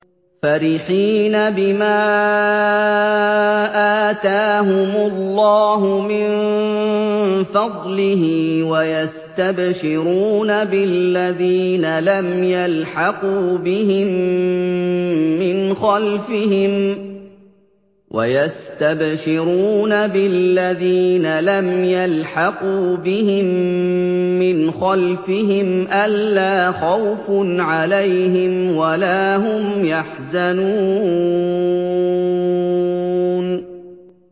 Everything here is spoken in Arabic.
فَرِحِينَ بِمَا آتَاهُمُ اللَّهُ مِن فَضْلِهِ وَيَسْتَبْشِرُونَ بِالَّذِينَ لَمْ يَلْحَقُوا بِهِم مِّنْ خَلْفِهِمْ أَلَّا خَوْفٌ عَلَيْهِمْ وَلَا هُمْ يَحْزَنُونَ